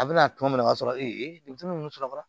A bɛna tɔn min na o b'a sɔrɔ e ye denmisɛnnu sɔrɔ